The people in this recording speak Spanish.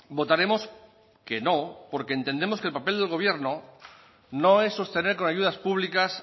votaremos que no porque entendemos que el papel del gobierno no es sostener con ayudas públicas